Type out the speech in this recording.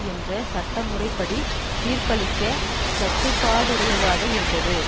என்ற சட்டமுறைப்படி தீர்ப்பளிக்க கடப்பாடுடையாதாக இருந்தது